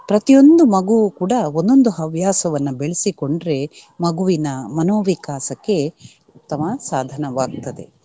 ಪ್ರತಿಯೊಂದು ಮಗುವೂ ಕೂಡ ಒಂದೊಂದು ಹವ್ಯಾಸವನ್ನ ಬೆಳೆಸಿಕೊಂಡ್ರೆ ಮಗುವಿನ ಮನೋವಿಕಾಸಕ್ಕೆ ಉತ್ತಮ ಸಾಧನವಾಗ್ತದೆ.